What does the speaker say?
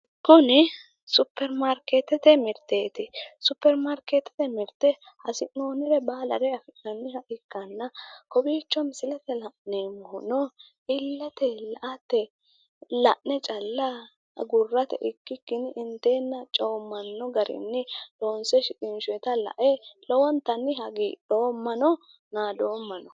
Kuni supperimaarkeettete mirteeti. Supperimaarkeettete mirte hasi'noonnire baala afi'nanniwa ikkanna kowiicho misilete la'neemmohuno illeteyi la"ate la'ne calla agurate ikkikki inteenna coommanno garinni loonse shiqinshoyita lae lowontanni hagidhoommano naadoommano.